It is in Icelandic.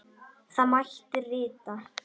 Þá mætti rita